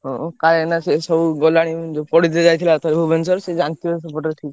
ହଁ କାଳିଆନା ସେ ସବୁ ଗଲାଣି ଯୋଉ ପଢିତେ ଯାଇଥିଲା ଏଥର ଭୁବନେଶ୍ବର ସେ ଜାଣି ଥିବ ସେପଟରେ ଠିକ୍।